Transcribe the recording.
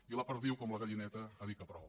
i la perdiu com la gallineta ha dit que prou